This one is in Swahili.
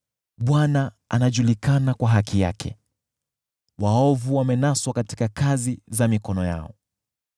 Bwana anajulikana kwa haki yake, waovu wamenaswa katika kazi za mikono yao.